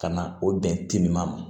Ka na o bɛn timinan ma